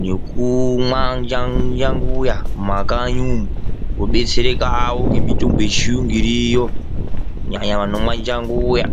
nekumwa munjanguya mumakanyi umwu vodetserekawo nemitombo yechiyungu irimwo kunyanya nyanaya vanomwe njanguya.